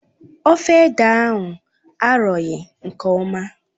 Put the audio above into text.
Ofe ede ahụ arọghị nke ọma